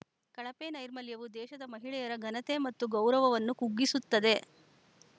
ಕಳಪೆ ನೈರ್ಮಲ್ಯವು ದೇಶದ ಮಹಿಳೆಯರ ಘನತೆ ಮತ್ತು ಗೌರವವನ್ನು ಕುಗ್ಗಿಸುತ್ತದೆ